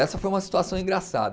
Essa foi uma situação engraçada.